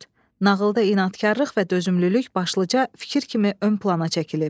Nağılda inadkarlıq və dözümlülük başlıca fikir kimi ön plana çəkilib.